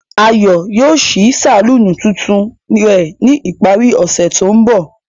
Ayo yoo ṣii saluni tuntun rẹ ni ipari ose to nbọ.